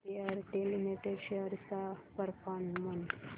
Bharti Airtel limited shares चा performance